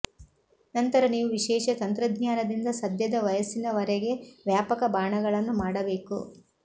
ನಂತರ ನೀವು ವಿಶೇಷ ತಂತ್ರಜ್ಞಾನದಿಂದ ಸದ್ಯದ ವಯಸ್ಸಿನವರೆಗೆ ವ್ಯಾಪಕ ಬಾಣಗಳನ್ನು ಮಾಡಬೇಕು